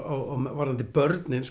varðandi börnin